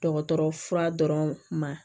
Dɔgɔtɔrɔ fura dɔrɔn ma